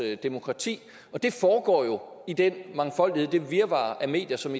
demokrati det foregår jo i den mangfoldighed og det virvar af medier som